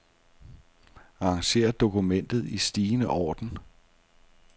Arranger dokument i stigende orden.